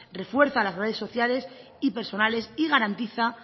refuerza las redes sociales y personales y garantiza